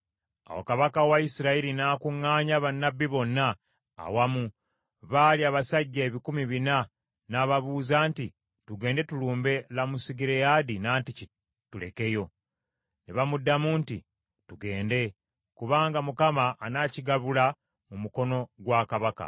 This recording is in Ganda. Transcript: Awo kabaka wa Isirayiri n’akuŋŋaanya bannabbi bonna awamu; baali abasajja ebikumi bina, n’ababuuza nti, “Tugende tulumbe Lamosugireyaadi nantiki tulekeyo?” Ne bamuddamu nti, “Tugende, kubanga Mukama anaakigabula mu mukono gwa kabaka.”